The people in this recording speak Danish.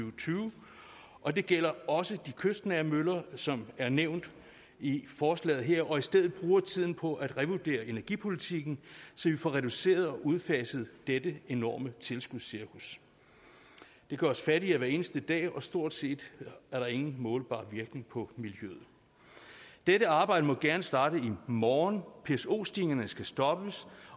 og tyve og det gælder også de kystnære møller som er nævnt i forslaget her og i stedet bruger tiden på at revurdere energipolitikken så vi får reduceret og udfaset dette enorme tilskudscirkus det gør os fattigere hver eneste dag og stort set ingen målbar virkning på miljøet dette arbejde må gerne starte i morgen pso stigningerne skal stoppes